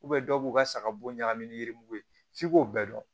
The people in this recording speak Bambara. dɔw b'u ka saga bo ɲagami ni yirugu ye f'i k'o bɛɛ dɔn